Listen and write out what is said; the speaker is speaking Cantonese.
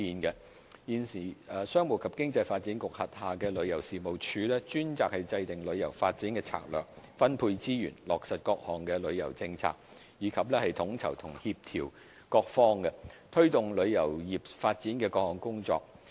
現時，商務及經濟發展局轄下的旅遊事務署專責制訂旅遊發展策略，分配資源，落實各項旅遊政策，以及統籌和協調各方，推動旅遊業發展的各項工作。